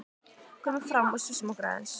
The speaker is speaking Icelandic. Komum fram og sjússum okkur aðeins.